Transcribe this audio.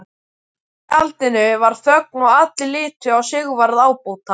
Í tjaldinu varð þögn og allir litu á Sigvarð ábóta.